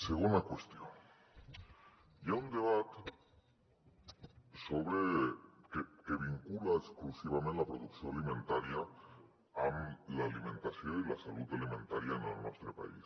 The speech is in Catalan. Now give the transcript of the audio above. segona qüestió hi ha un debat que vincula exclusivament la producció alimentària amb l’alimentació i la salut alimentària en el nostre país